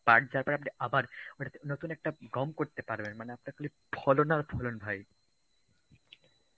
পাট যাওয়ার পরে আপনি আবার নতুন একটা গম করতে পারবেন মানে আপনার খালি ফলন আর ফলন ভাই.